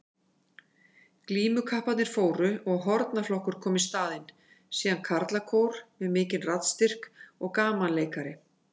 Glímukapparnir fóru og hornaflokkur kom í staðinn, síðan karlakór með mikinn raddstyrk og gamanleikari.